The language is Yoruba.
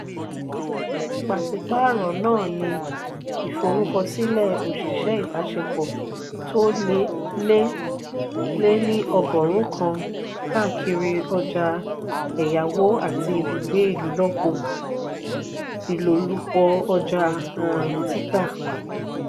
pasipaaro náà ni ìforúkọsílẹ oṣiṣẹ ibaṣepọ tó lé lé ní ọgọrùn kan káàkiri ọjà èyáwó àti ibùgbé ilolupo ọja um títà.